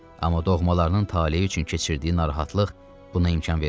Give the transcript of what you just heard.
Amma doğmalarının taleyi üçün keçirdiyi narahatlıq buna imkan vermirdi.